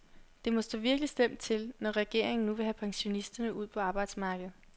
Det må stå virkelig slemt til, når regeringen nu vil have pensionisterne ud på arbejdsmarkedet.